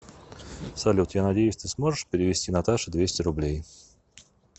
салют я надеюсь ты сможешь перевести наташе двести рублей